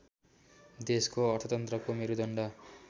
देशको अर्थतन्त्रको मेरुदण्ड